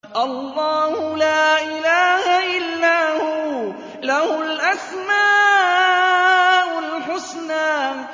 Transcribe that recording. اللَّهُ لَا إِلَٰهَ إِلَّا هُوَ ۖ لَهُ الْأَسْمَاءُ الْحُسْنَىٰ